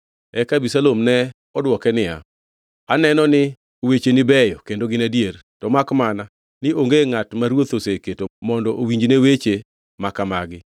Eka Abisalom ne odwoke niya, “Aneno ni wecheni beyo kendo gin adier; to makmana ni onge ngʼat ma ruoth oseketo mondo owinjne weche makamagi.”